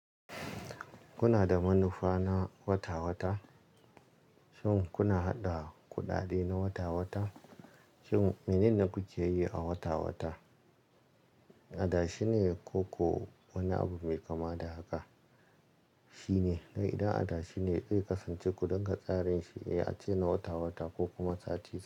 Kuna da manufa na wata-wata? Shin kuna haɗa kuɗaɗe na wata-wata? Shin menene kuke yi a wata-wata? Adashe ne ko wani abu mai kama da haka shine? To idan adashi ne, ku kasance ku dunga tsarin shi, iya ce na wata-wata ko kuma sati.